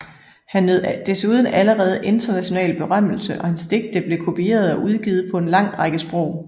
Han nød desuden allerede international berømmelse og hans digte blev kopieret og udgivet på en lang række sprog